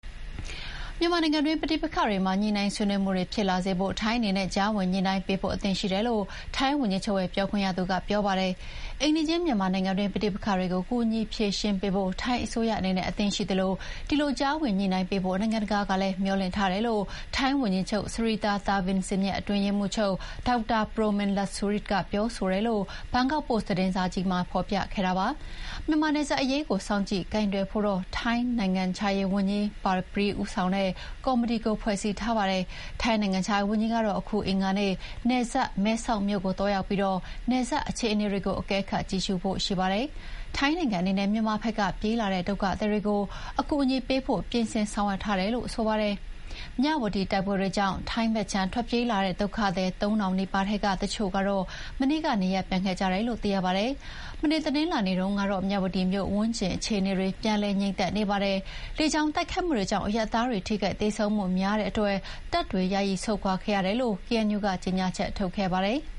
မြန်မာနိုင်ငံတွင်းပဋိပက္ခတွေမှာ ညှိုနှိုင်းဆွေးနွေးမှုတွေဖြစ်လာစေဖို့ ထိုင်းအနေနဲ့ ကြားဝင်ညှိုနှိုင်းပေးဖို့ အသင့်ရှိတယ်လို့ ထိုင်းဝန်ကြီးချုပ်ရဲ့ ပြောခွင့်ရသူက ပြောပါတယ်။ အိမ်နီးချင်းမြန်မာနိုင်ငံတွင်း ပဋိပက္ခတွေကို ကူညီဖြေရှင်းပေးဖို့ ထိုင်းအစိုးရအနေနဲ့ အသင့်ရှိသလို၊ ဒီလို ကြားဝင်ညှိုနှိုင်းပေးဖို့ နိုင်ငံတကာကလည်း မျှော်လင့်ထားတယ်လို့ ထိုင်းဝန်ကြီးချုပ် Srettha Thavisin ရဲ့ အတွင်းရေးမှုးချုပ် Dr. Prommin Lertsuridej ကပြောဆိုတယ်လို့ ဘန်ကောက်ပိုစ်သတင်းစာကြီးက ဖော်ပြခဲ့တာပါ။ မြန်မာနယ်စပ်အရေးကို စောင့်ကြည့်ကိုင်တွယ်ဖို့တော့ ထိုင်းထိုင်းနိုင်ငံခြားရေးဝန်ကြီး Parnpree ဦးဆောင်တဲ့ ကော်မတီကို ဖွဲ့စည်းထားပါတယ်။ ထိုင်းနိုင်ငံခြားရေးဝန်ကြီးကတော့ အခု အင်္ဂါနေ့ နယ်စပ် မဲဆောက်မြို့ကို သွာရောက်ပြီး နယ်စပ်အခြေအနေတွေ အကဲခတ်ကြည့်ရှုဖို့ရှိပါတယ်။ ထိုင်းနိုင်ငံအနေနဲ့ မြန်မာဖက်က ပြေးလာတဲ့ ဒုက္ခသည်တွေကို အကူအညီပေးဖို့ ပြင်ဆင်ဆောင်ရွက်ထားတယ်လို့ ဆိုပါတယ်။ မြဝတီတိုက်ပွဲတွေကြောင့် ထိုင်းဘက်ခြမ်း ထွက်ပြေးလာတဲ့ ဒုက္ခသည် ၃ထောင်နီးပါးထဲကတချို့ကတော့ မနေ့က နေရပ်ပြန်ခဲ့ကြတယ်လို့ သိရပါတယ်။ မနေ့ တနင်းလာနေ့ကတော့ မြဝတီမြို့ဝန်းကျင်အခြေအနေတွေ ပြန်လည်ငြိမ်သက်နေပါတယ်။ လေကြောင်းတိုက်ခိုက်မှုတွေကြောင့် အရပ်သားတွေထိခိုက်သေဆုံးမှုများတဲ့အတွက် တပ်တွေ ယာယီဆုတ်ခွာခဲ့တယ်လို့ KNU က ကြေညာချက် ထုတ်ခဲ့ပါတယ်။